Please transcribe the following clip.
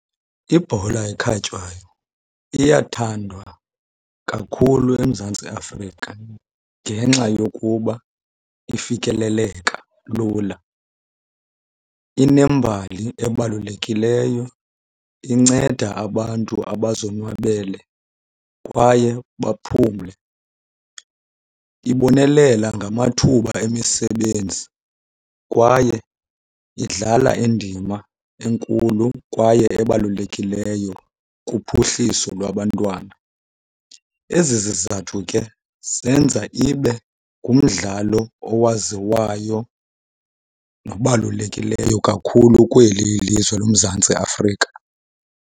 Ibhola ekhatywayo iyathandwa kakhulu eMzantsi Afrika ngenxa yokuba ifikeleleka lula. Inembali ebalulekileyo inceda abantu abazonwabele kwaye baphumle. Ibonelela ngamathuba emisebenzi kwaye idlala indima enkulu kwaye ebalulekileyo kuphuhliso lwabantwana. Ezi zizathu ke zenza ibe ngumdlalo owaziwayo nobalulekileyo kakhulu kweli ilizwe loMzantsi Afrika.